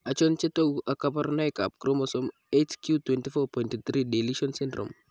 Achon chetogu ak kaborunoik ab chromosome 8q24.3 deletion syndrome